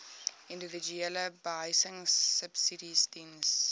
individuele behuisingsubsidies diens